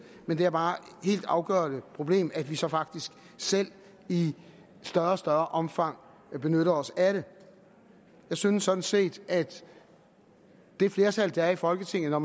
men det er bare et helt afgørende problem at vi så faktisk selv i større og større omfang benytter os af det jeg synes sådan set at det flertal der er i folketinget når